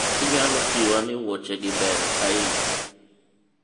inyalo jiwa ni wuoche gi beyo ahinya?